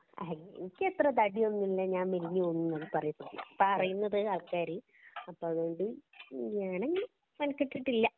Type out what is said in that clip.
അയ്യി എനിക്കത്ര തടിയൊന്നും ഇല്ല. ഞാന്‍ മെലിഞ്ഞു പോയീന്നാണ് പറയപ്പെടുന്നത് പറയുന്നത് ആള്‍ക്കാര്. അപ്പൊ അതൊകൊണ്ട് ഞാനങ്ങനെ മെനക്കെട്ടിട്ടില്ല